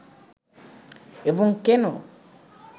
এবং কেন